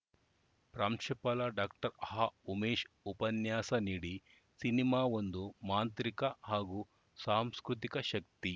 ಪ್ರಾಂಶುಪಾಲ ಡಾಕ್ಟರ್ ಹಾಉಮೇಶ್‌ ಉಪನ್ಯಾಸ ನೀಡಿ ಸಿನಿಮಾ ಒಂದು ಮಾಂತ್ರಿಕ ಹಾಗೂ ಸಾಂಸ್ಕೃತಿಕ ಶಕ್ತಿ